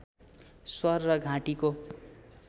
स्वर र घाँटीको